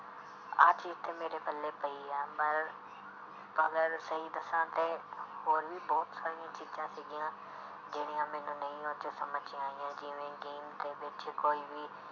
ਆਹ ਚੀਜ਼ ਤੇ ਮੇਰੇ ਪੱਲੇ ਪਈ ਆ ਪਰ ਮਗਰ ਸਹੀ ਦੱਸਾਂ ਤੇ ਹੋਰ ਵੀ ਬਹੁਤ ਸਾਰੀਆਂ ਚੀਜ਼ਾਂ ਸੀਗੀਆਂ ਜਿਹੜੀਆਂ ਮੈਨੂੰ ਨਹੀਂ ਉਹ 'ਚ ਸਮਝ 'ਚ ਆਈਆਂ ਜਿਵੇਂ game ਦੇ ਵਿੱਚ ਕੋਈ ਵੀ